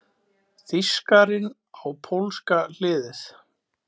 Þýskarinn á pólska hliðið!